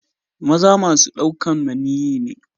Maza masun daukan maniyyi ne.